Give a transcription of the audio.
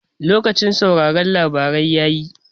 Lokacin sauraron labarai yayi